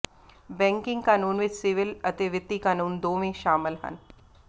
banking ਕਾਨੂੰਨ ਵਿੱਚ civil ਅਤੇ ਵਿੱਤੀ ਕਾਨੂੰਨ ਦੋਵੇਂ ਸ਼ਾਮਲ ਹਨ